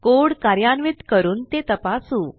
code कार्यान्वित करून ते तपासू